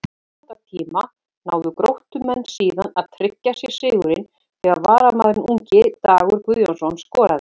Í viðbótartíma náðu Gróttumenn síðan að tryggja sér sigurinn þegar varamaðurinn ungi Dagur Guðjónsson skoraði.